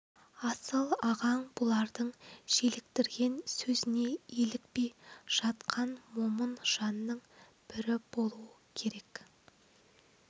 асыл ағаң бұлардың желіктірген сөзіне елікпей жатқан момын жанның бірі болу керек